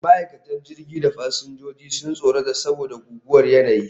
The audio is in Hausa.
Ma'aikatan jirgin da fasinjojin sun tsorata saboda guguwar yanayi